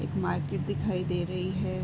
एक मार्किट दिखाई दे रही है।